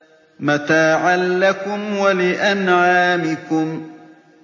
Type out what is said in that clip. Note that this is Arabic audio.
مَّتَاعًا لَّكُمْ وَلِأَنْعَامِكُمْ